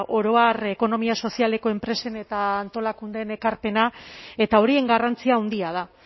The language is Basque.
oro har ekonomia sozialeko enpresen eta antolakundeen ekarpena eta horien garrantzia handia da